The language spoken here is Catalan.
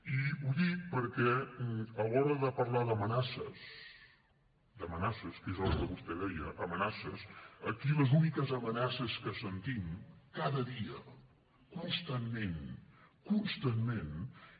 i ho dic perquè a l’hora de parlar d’amenaces que és el que vostè deia amenaces aquí les úniques amenaces que sentim cada dia constantment constantment